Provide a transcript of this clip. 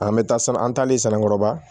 An bɛ taa san an taalen sannikɔrɔba